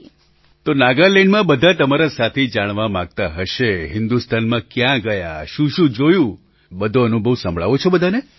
પ્રધાનમંત્રી તો નાગાલેન્ડમાં બધા તમારા સાથી જાણવા માગતા હશે હિન્દુસ્તાનમાં ક્યાં ગયા શુંશું જોયું બધો અનુભવ સંભળાવો છો બધાને